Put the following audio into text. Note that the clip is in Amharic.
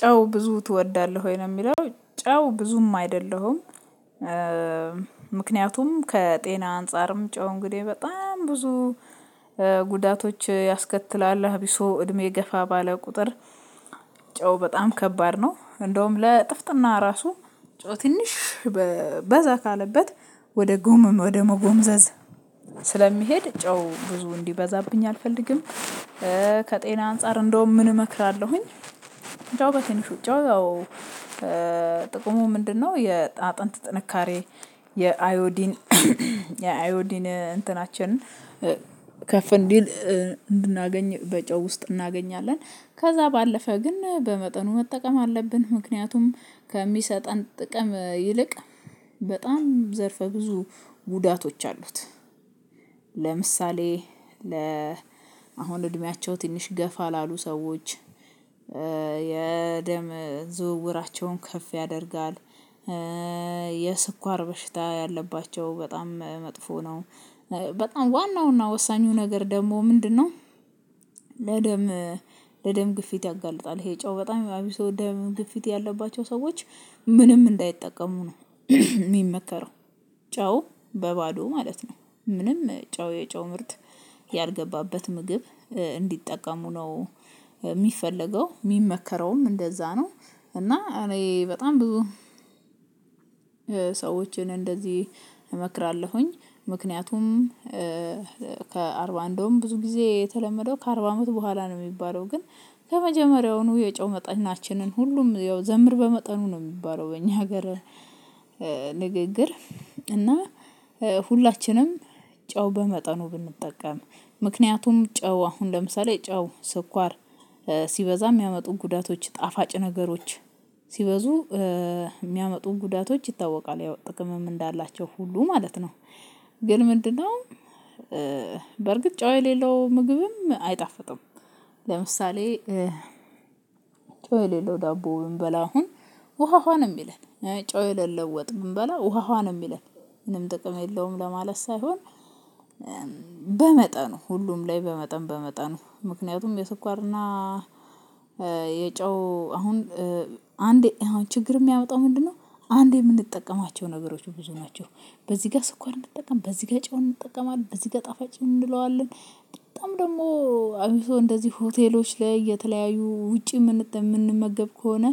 ጨው ብዙ ትወዳለህ ወይ ነው የሚለው ጨው ብዙም አይደለሁም። ምክንያቱም ከጤና አንፃርም ጨው እንግዲህ በጣም ብዙ ጉዳቶች ያስከትላል። አቢሶ እድሜ ገፋ ባለ ቁጥር ጨው በጣም ከባድ ነው። እንደውም ለጥፍጥና ራሱ ጨው ትንሽ በዛ ካለበት ወደ ጎመም ወደ መጎመዘዝ ስለሚሄድ ጨው ብዙ እንዲበዛብኝ አልፈልግም። ከጤና አንፃር እንደውም ምን እመክራለሁኝ ጨው በትንሹ ጨው ያው ጥቅሙ ምንድነው የአጥንት ጥንካሬ የአዮዲን የአዮዲን እንትናችን ከፍ እንዲል እንድናገኝ በጨው ውስጥ እናገኛለን። ከዛ ባለፈ ግን በመጠኑ መጠቀም አለብን ምክንያቱም ከሚሰጠን ጥቅም ይልቅ በጣም ዘርፈ ብዙ ጉዳቶች አሉት። ለምሳሌ ለ አሁን እድሜያቸው ትንሽ ገፋ ላሉ ሰዎች የደም ዝውውራቸውን ከፍ ያደርጋል። የስኳር በሽታ ያለባቸው በጣም መጥፎ ነው። በጣም ዋናው እና ወሳኙ ነገር ደግሞ ምንድነው? ለደም ለደም ግፊት ያጋልጣል። ይሄ ጨው በጣም አቢሶ ደም ግፊት ያለባቸው ሰዎች ምንም እንዳይጠቀሙ ነው የሚመከረው ጨው በባዶ ማለት ነው። ምንም ጨው የጨው ምርት ያልገባበት ምግብ እንዲጠቀሙ ነው። የሚፈለገው የሚመከረውም እንደዛ ነው እና እኔ በጣም ብዙ ሰዎችን እንደዚህ እመክራለሁኝ። ምክንያቱም ከአርባ እንደውም ብዙ ጊዜ የተለመደው ከአርባ አመት በኋላ ነው የሚባለው ግን ከመጀመሪያውኑ የጨው መጠናችንን ሁሉም ያው ዘምር በመጠኑ ነው የሚባለው በእኛ ሀገር ንግግር እና ሁላችንም ጨው በመጠኑ ብንጠቀም ምክንያቱም ጨው አሁን ለምሳሌ ጨው ስኳር ሲበዛ የሚያመጡ ጉዳቶች ጣፋጭ ነገሮች ሲበዙ የሚያመጡ ጉዳቶች ይታወቃል። ያው ጥቅምም እንዳላቸው ሁሉ ማለት ነው። ግን ምንድነው በርግጥ ጨው የሌለው ምግብም አይጣፍጥም። ለምሳሌ ጨው የሌለው ዳቦ ብንበላ አሁን ውሃ ውሃ የሚለን ጨው ወጥ ብንበላ ውሃ ውሃ ነው የሚለን ምንም ጥቅም የለውም ለማለት ሳይሆን በመጠኑ ሁሉም ላይ በመጠን በመጠኑ ምክንያቱም የስኳርና የጨው አሁን አንዴ አሁን ችግር የሚያወጣው ምንድነው አንዴ የምንጠቀማቸው ነገሮች ብዙ ናቸው። በዚህ ጋር ስኳር እንጠቀም፣ በዚህ ጋር ጨውን እንጠቀማለን፣ በዚህ ጋር ጣፋጭ እንለዋለን። በጣም ደግሞ አብሶ እንደዚህ ሆቴሎች ላይ የተለያዩ ውጪ የምንመገብ ከሆነ